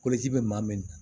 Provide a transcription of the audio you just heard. bɛ maa min